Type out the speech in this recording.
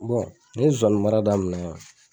Bɔn n ye zonzanimara damina